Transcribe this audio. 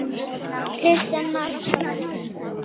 Kristján Már: Hvenær hófst þetta?